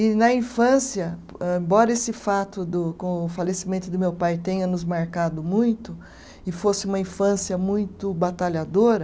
E na infância, âh embora esse fato do com o falecimento do meu pai tenha nos marcado muito, e fosse uma infância muito batalhadora,